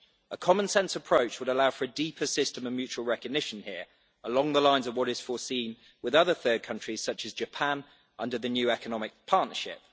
A common sense approach would allow for a deeper system of mutual recognition here, along the lines of what is foreseen with other third countries such as Japan, under the new economic partnership.